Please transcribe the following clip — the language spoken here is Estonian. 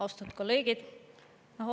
Austatud kolleegid!